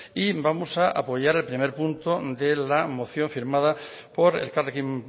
y vamos a apoyar el primer punto de la moción firmada por elkarrekin